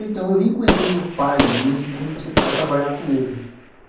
Então eu vim conhecer meu pai mesmo, quando eu comecei a trabalhar com ele.